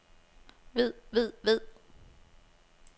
ved ved ved